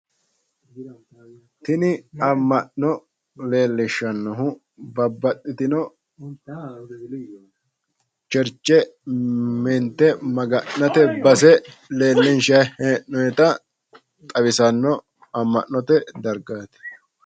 Tini amma'no leellishshannohu babbaxxitino Churche woy Maga'nate base mintanni noota xawisanno amma'note dargaati.